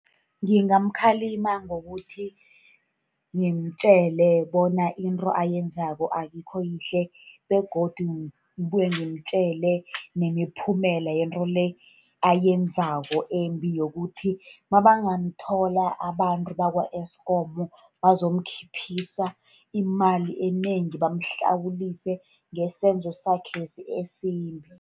Ngingamkhalima ngokuthi ngimtjele bona into ayenzako ayikho yihle, begodu kubuye ngimtjele nemiphumela yento le ayenzako embi, yokuthi nabangamthola abantu bakwa-Eskom, bazomkhphisa imali enengi, bamhlawulise ngesenzo sakhe lesi esimbi.